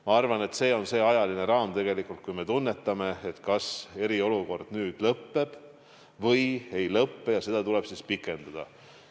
Ma arvan, et see ajaline raam tingib selle, kas me tunnetame, et eriolukord peaks nüüd lõppema või tuleb seda pikendada.